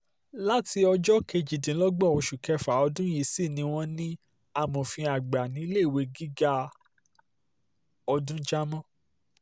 láti ọjọ́ kejìdínlọ́gbọ̀n oṣù kéfà ọdún yìí sì ni wọ́n ní amòfin àgbà níléèwé gíga ọdún jamar c